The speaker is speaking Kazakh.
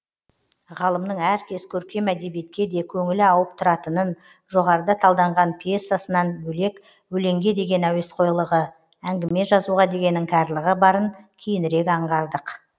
ғалымның әркез көркем әдебиетке де көңілі ауып тұратынын жоғарыда талданған пьсасынан бөлек өлеңге деген әуесқойлығы әңгіме жазуға деген іңкәрлығы барын кейінірек аңғардық